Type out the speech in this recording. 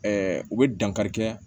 u bɛ dankari kɛ